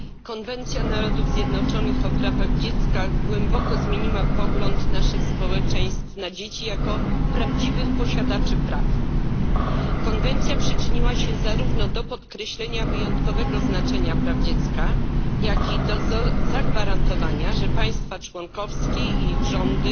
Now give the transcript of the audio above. Konwencja Narodów Zjednoczonych o prawach dziecka głęboko zmieniła pogląd naszych społeczeństw na dzieci jako prawdziwych posiadaczy praw. Konwencja przyczyniła się zarówno do podkreślenia wyjątkowego znaczenia praw dziecka, jak i do zagwarantowania, że państwa członkowskie i ich rządy